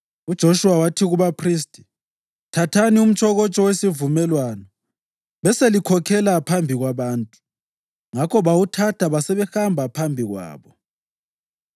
UJoshuwa wathi kubaphristi, “Thathani umtshokotsho wesivumelwano beselikhokhela phambi kwabantu.” Ngakho bawuthatha basebehamba phambi kwabo.